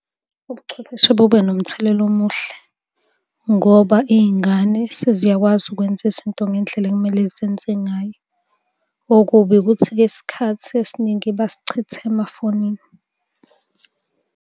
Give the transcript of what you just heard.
Ubuchwepheshe bube nomthelela omuhle, ngoba iy'ngane seziyakwazi ukwenza izinto ngendlela ekumele zenze ngayo. Okubi ukuthi-ke isikhathi esiningi basichitha emafonini.